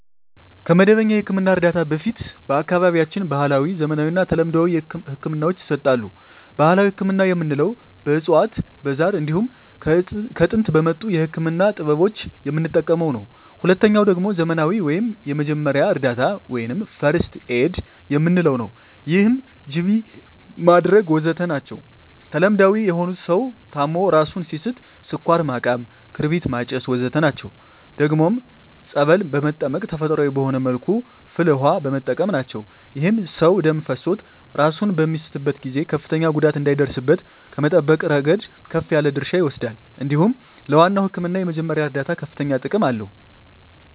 ከመደበኛ የሕክምና እርዳታ በፊት በአካባቢያችን ባህለዊ፣ ዘመናዊና ተለምዷዊ ህክምናወች ይሰጣሉ። ባህላዊ ህክምና የምንለዉ በእፅዋት በዛር እንዲሁም ከጥንት በመጡ የህክምና ጥበቦች የምንጠቀመዉ ነዉ። ሁለተኛዉ ደግሞ ዘመናዊ ወይም የመጀመሪያ እርዳታ(ፈርክት ኤድ) የምንለዉ ነዉ ይህም ጅቢ ማድረግ ወዘተ ናቸዉ። ተለምዳዊ የሆኑት ሰዉ ታሞ እራሱን ሲስት ስኳር ማቃም ክርቢት ማጨስ ወዘተ ናቸዉ። ደግሞም ፀበል በመጠመቅ ተፈጥሮአዊ በሆነ መልኩ ፍል ዉሃ በመጠቀም ናቸዉ። ይህም ሰዉ ደም ፈሶት እራሱን በሚስትበት ጊዜ ከፍተኛ ጉዳት እንዳይደርስበት ከመጠበቅ እረገድ ከፍ ያለ ድርሻ ይወስዳል እንዲሁም ለዋናዉ ህክምና የመጀመሪያ እርዳታ ከፍተኛ ጥቅም አለዉ።